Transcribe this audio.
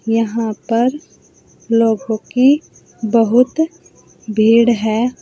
यहां पर लोगों की बहुत भीड़ है।